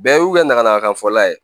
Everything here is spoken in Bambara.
Bɛɛ y'u kɛ nakan fɔla ye